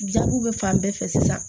Jaabiw bɛ fan bɛɛ fɛ sisan